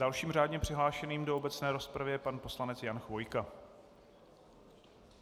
Dalším řádně přihlášeným do obecné rozpravy je pan poslanec Jan Chvojka.